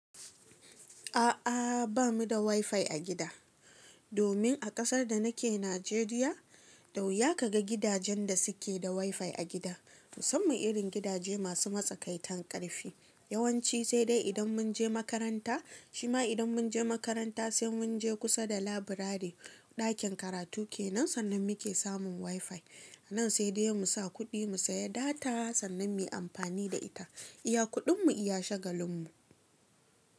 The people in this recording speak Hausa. A'a, ba mu da wifi a gida, domin a ƙasar da nake Najeriya, da wuya ka ga gidajen da suke da wifi a gida. Musamman irin gidaje masu matsakaitan ƙarfi. Yawanci sai dai idan mun je makaranta, shima idan mun je makaranta sai mun je kusa da laburare ɗakin karatu ke nan sannan muke samun wifi. Nan sai dai mu sa kuɗi mu saya data sannan mu yi amfani da ita. Iya kuɗinmu iya shagalinmu.